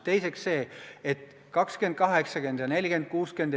Teiseks, suhetest 20 : 80 ja 40 : 60.